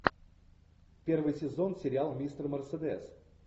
первый сезон сериал мистер мерседес